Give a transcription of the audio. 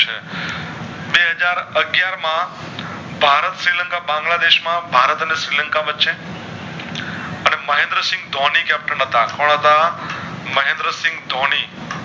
માં ભારત શ્રીલંકા બાંગ્લાદેશ માં ભારત અને શ્રીલંકા વચ્ચે મહેન્દ્ર સિંહ ધોની Captain હતા કોણ હતા મહેન્દ્ર સિંહ ધોની